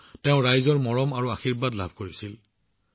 তাতো তেওঁ মানুহৰ পৰা যথেষ্ট মৰম আৰু আশীৰ্বাদ লাভ কৰিছিল